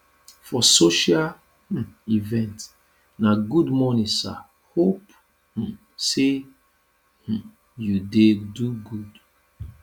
for social um event na good morning sir hope um say um you dey do good